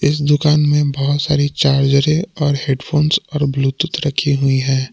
इस दुकान में बहुत सारी चार्जरे और हेड फोंस और ब्लूटूथ रखी हुई हैं।